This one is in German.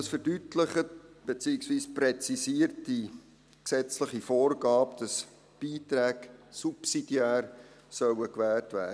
Das verdeutlicht, beziehungsweise präzisiert die gesetzliche Vorgabe, wonach Beiträge subsidiär gewährt werden sollen.